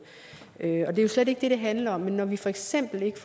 er jo slet ikke det det handler om når vi for eksempel ikke